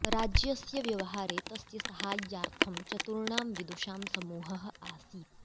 राज्यस्य व्यवहारे तस्य साहाय्यार्थं चतुर्णां विदुषां समूहः आसीत्